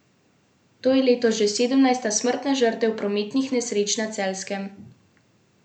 To je letos že sedemnajsta smrtna žrtev prometnih nesreč na Celjskem.